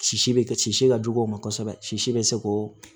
Sisi bɛ si ka jugu o ma kosɛbɛ sisi bɛ se k'o